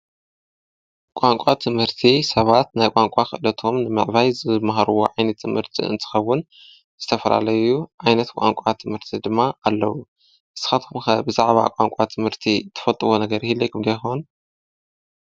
ብቛንቋ ትምህርቲ ሰባት ናይ ቛንቋ ኽእለቶም ምዕባይ ዝመሃርዎ ዓይነት ትምህርቲ እንትኸውን ዝተፈላለዩ ዓይነት ቛንቋ ትምህርቲ ድማ ኣለዉ። ንስኩም ድማ ብዛዕባ ቛንቋ ትምህርቲ ተፈልጥዎ ነገር ይህልዎኩም ዶ ይኮን?